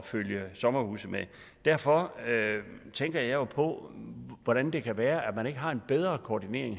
følge sommerhuse med derfor tænker jeg jo på hvordan det kan være at man ikke har en bedre koordinering